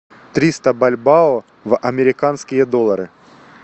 триста бальбоа в американские доллары